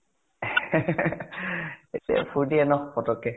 ফুৰ্তি য়ে ন পতকে ?